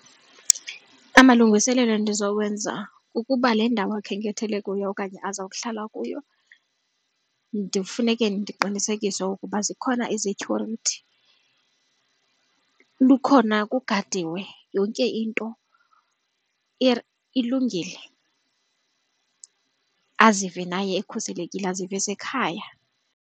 Amalungiselelo endizowenza kukuba le ndawo akhenkethele kuyo okanye azokuhlala kuyo ndifuneka ndiqinisekise ukuba zikhona izetyhurithi, lukhona, kugadiwe yonke into ilungile azive naye ekhuselekile azive esekhaya.